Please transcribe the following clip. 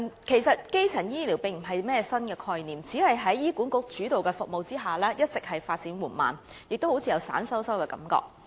其實，基層醫療並非甚麼新概念，只是在醫院管理局主導的服務下一直發展緩慢，亦予人有點鬆散的感覺。